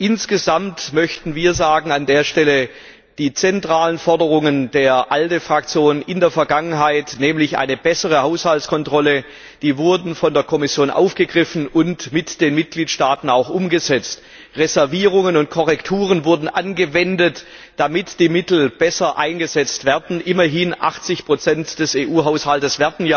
Insgesamt möchten wir an der Stelle sagen Die zentrale Forderung der ALDE Fraktion in der Vergangenheit nämlich eine bessere Haushaltskontrolle wurde von der Kommission aufgegriffen und mit den Mitgliedstaaten auch umgesetzt. Reservierungen und Korrekturen wurden angewendet, damit die Mittel besser eingesetzt werden, immerhin werden ja 80 des EU Haushaltes